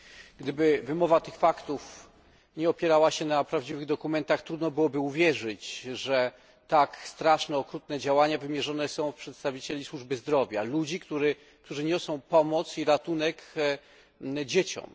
Gdyby wymowa tych faktów nie opierała się na prawdziwych dokumentach, trudno byłoby uwierzyć, że tak straszne, okrutne działania wymierzone są w przedstawicieli służby zdrowia, ludzi, którzy niosą pomoc i ratunek dzieciom.